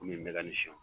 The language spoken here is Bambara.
Komi n bɛ ka ni shɔ